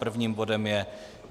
Prvním bodem je